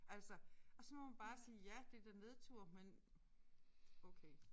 Altså og så må man bare sige ja det er da nedtur men okay